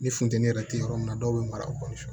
Ni funteni yɛrɛ tɛ yɔrɔ min na dɔw be mara o kɔnɔ